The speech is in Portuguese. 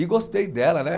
E gostei dela, né?